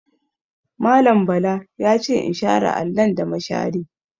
Mallam Bala ya ce in share allon da mashari.